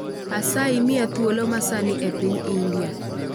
Asayi mia thuolo masani epiny india